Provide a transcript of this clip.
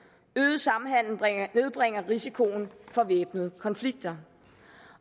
øget samhandel nedbringer risikoen for væbnede konflikter